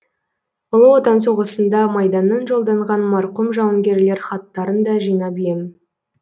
ұлы отан соғысында майданнан жолданған марқұм жауынгерлер хаттарын да жинап ем